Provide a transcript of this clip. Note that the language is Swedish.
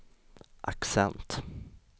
accent